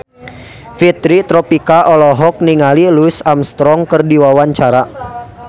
Fitri Tropika olohok ningali Louis Armstrong keur diwawancara